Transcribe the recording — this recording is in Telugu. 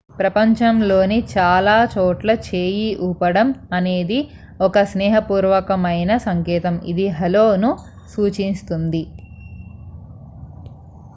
"ప్రపంచంలోని చాలా చోట్ల చేయి ఊపడం అనేది ఒక స్నేహపూర్వకమైన సంకేతం ఇది "హలో""ను సూచిస్తుంది.